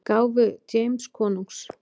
gáfu James konungs.